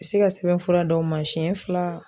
U bɛ se ka sɛbɛn fura d'aw ma siyɛn fila.